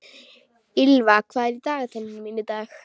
Ýlfa, hvað er í dagatalinu mínu í dag?